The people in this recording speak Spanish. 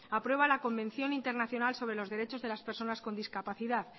aprueba la convención internacional sobre los derechos de las personas con discapacidad